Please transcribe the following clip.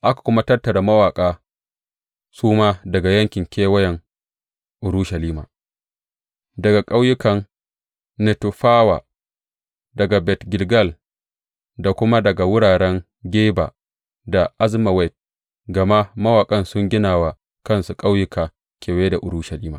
Aka kuma tattara mawaƙa su ma daga yankin kewayen Urushalima, daga ƙauyukan Netofawa, daga Bet Gilgal, da kuma daga wuraren Geba da Azmawet, gama mawaƙan sun gina wa kansu ƙauyuka kewaye da Urushalima.